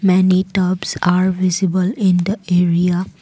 many tubs are visible in the area.